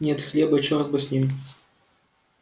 нет хлеба и чёрт бы с ним